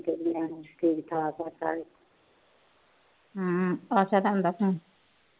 ਹਮ ਆਸ਼ਾ ਦਾ ਆਂਦਾ phone